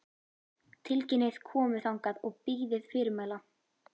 Tilkynnið komu þangað og bíðið fyrirmæla.